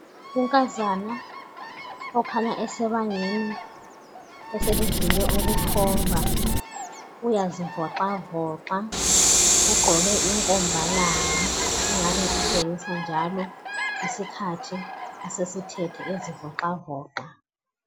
Unkazana okhanya esebangeni eselidlule ukuthomba uyazivoxavoxa ,ugqoke inkomba langa elingabe litshengisa njalo isikhathi asesithethe ezivoxavoxa.